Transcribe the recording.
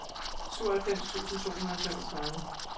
syvoghalvfems tusind to hundrede og femogtredive